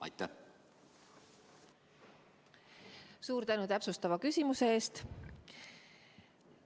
Suur tänu täpsustava küsimuse eest!